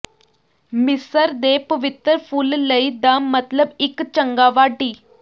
ਮਿਸਰ ਦੇ ਪਵਿੱਤਰ ਫੁੱਲ ਲਈ ਦਾ ਮਤਲਬ ਇੱਕ ਚੰਗਾ ਵਾਢੀ